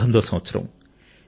1919 సంవత్సరం